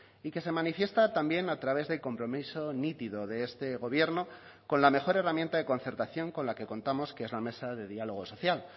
y que se manifiesta también a través de compromiso nítido de este gobierno con la mejor herramienta de concertación con la que contamos que es la mesa de diálogo social